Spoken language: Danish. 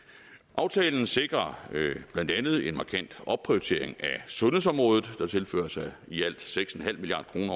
aftalen sikrer blandt andet en markant opprioritering af sundhedsområdet der tilføres i alt seks milliard kroner